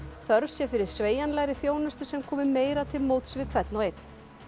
þörf sé fyrir sveigjanlegri þjónustu sem komi meira til móts við hvern og einn